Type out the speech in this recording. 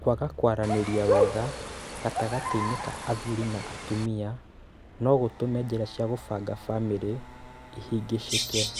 Kwaga kwaranĩria wega gatagatĩ-inĩ ka athuri na atumia no gũtũme njĩra cia kũbanga famĩrĩ ihĩngĩcĩke.